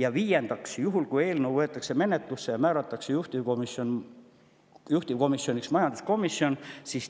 Ja viiendaks, juhul kui eelnõu võetakse menetlusse ja määratakse juhtivkomisjoniks majanduskomisjon,